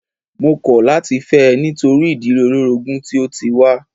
Mó kọ̀ láti fẹ́ ẹ nítorí ìdílé olórogún tí o tí wá.